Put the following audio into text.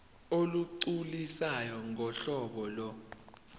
olugculisayo ngohlobo lo